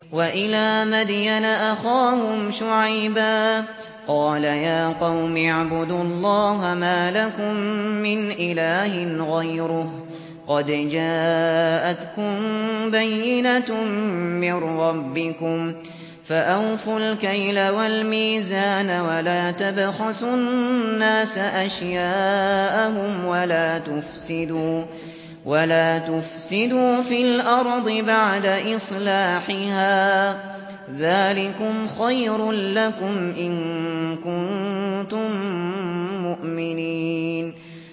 وَإِلَىٰ مَدْيَنَ أَخَاهُمْ شُعَيْبًا ۗ قَالَ يَا قَوْمِ اعْبُدُوا اللَّهَ مَا لَكُم مِّنْ إِلَٰهٍ غَيْرُهُ ۖ قَدْ جَاءَتْكُم بَيِّنَةٌ مِّن رَّبِّكُمْ ۖ فَأَوْفُوا الْكَيْلَ وَالْمِيزَانَ وَلَا تَبْخَسُوا النَّاسَ أَشْيَاءَهُمْ وَلَا تُفْسِدُوا فِي الْأَرْضِ بَعْدَ إِصْلَاحِهَا ۚ ذَٰلِكُمْ خَيْرٌ لَّكُمْ إِن كُنتُم مُّؤْمِنِينَ